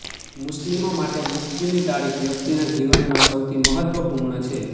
મુસ્લિમો માટે મૃત્યુની તારીખ વ્યક્તિના જીવનમાં સૌથી મહત્વપૂર્ણ છે